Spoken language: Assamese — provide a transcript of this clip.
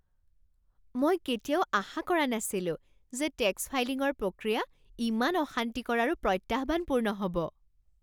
মই কেতিয়াও আশা কৰা নাছিলোঁ যে টেক্স ফাইলিঙৰ প্ৰক্ৰিয়া ইমান অশান্তিকৰ আৰু প্ৰত্যাহ্বানপূৰ্ণ হ'ব।